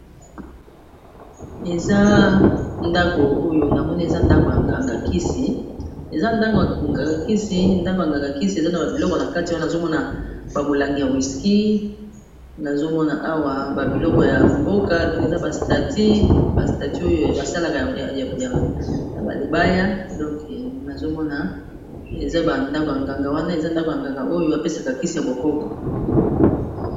Eza ndako ya nganga kisi, eza na ba biloko na kati wana, nazomona ba molangi ya whiski, nazomona awa ba biloko ya mboka donc na ba ekeko oyo basalaka na mabaya donc nazomona eza ndako ya nganga oyo apesaka kisi ya bokoko.